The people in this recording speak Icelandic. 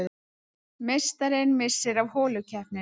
Meistarinn missir af holukeppninni